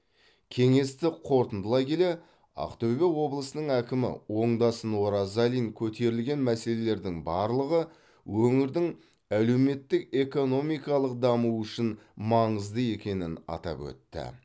кеңесті қорытындылай келе ақтөбе облысының әкімі оңдасын оразалин көтерілген мәселелердің барлығы өңірдің әлеуметтік экономикалық дамуы үшін маңызды екенін атап өтті